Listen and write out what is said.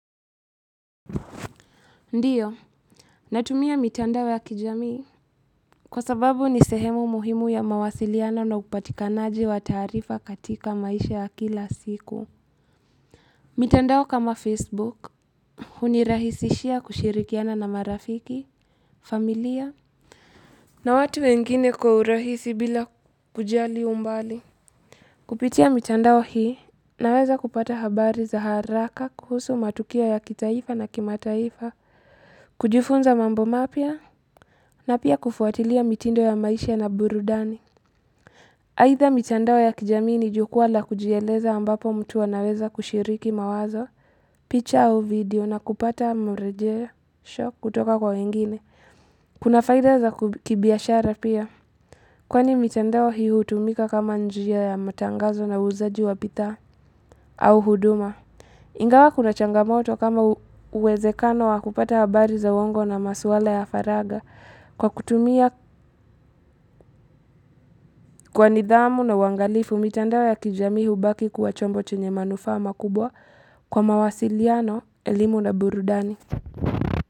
Ndio. Natumia mitandao ya kijamii. Kwa sababu ni sehemu muhimu ya mawasiliano upatikanaji wa taarifa katika maisha ya kila siku. Mitandao kama Facebook. Hunirahisishia kushirikiana na marafiki, familia. Na watu wengine kwa urahisi bila kujali umbali. Kupitia mitandao hii naweza kupata habari za haraka kuhusu matukio ya kitaifa na kimataifa. Kujifunza mambo mapya. Na pia kufuatilia mitindo ya maisha na burudani Aidha mitandao ya kijamii ni jukwa la kujieleza ambapo mtu anaweza kushiriki mawazo picha au video na kupata mrejesho kutoka kwa wengine Kuna faida za kibiashara pia Kwani mitandao hii hutumika kama njia ya matangazo na uuzaji wa bidhaa au huduma Ingawa kuna changamoto kama uwezekano wa kupata habari za uwongo na masuala ya faragha Kwa kutumia kwa nidhamu na uangalifu, mitandao ya kijami hubaki kuwa chombo chenye manufaa makubwa kwa mawasiliano, elimu na burudani.